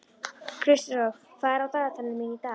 Kristrós, hvað er á dagatalinu mínu í dag?